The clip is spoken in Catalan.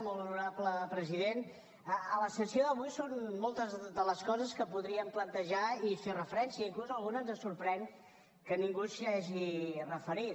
molt honorable president a la sessió d’avui són moltes de les coses que podríem plantejar i fer referència inclús alguna ens sorprèn que ningú s’hi hagi referit